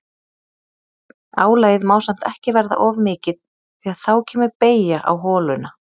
Álagið má samt ekki verða of mikið því að þá kemur beygja á holuna.